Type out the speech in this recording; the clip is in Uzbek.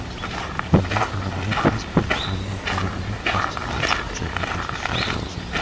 Bunda talabalar pasport hamda talabalikni tasdiqlovchi hujjatni ko‘rsatishlari lozim.